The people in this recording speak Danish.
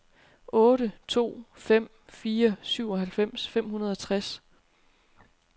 otte to fem fire syvoghalvfems fem hundrede og tres